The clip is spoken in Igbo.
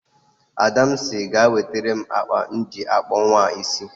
Ada sị ga ewetere m mkpa m ji akpụ nwam isi